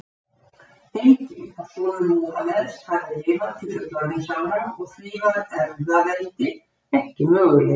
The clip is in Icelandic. Enginn af sonum Múhameðs hafði lifað til fullorðinsára og því var erfðaveldi ekki möguleiki.